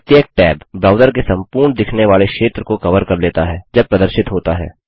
प्रत्येक tab browser के संपूर्ण दिखने वाले क्षेत्र को कवर कर लेता है जब प्रदर्शित होता है